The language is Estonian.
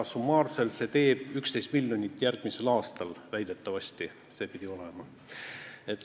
Summaarselt teeb see 11 miljonit järgmisel aastal, väidetavasti pidi see nii olema.